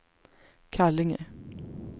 Kallinge